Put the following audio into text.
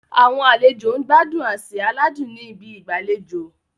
Àwọn àlejò ń gbádùn àsè aládùn ní ibi ìgbàlejò.